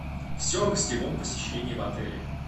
все о гостевом посещении в отеле